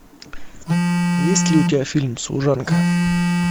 есть ли у тебя фильм служанка